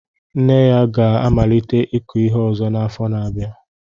Nne ya ga-amalite ịkụ ihe ọzọ n'afọ na-abịa.